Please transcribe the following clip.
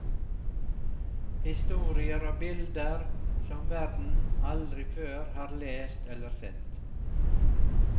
Historier og bilder som verden aldri før har lest eller sett.